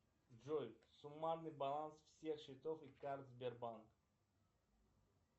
джой суммарный баланс всех счетов и карт сбербанк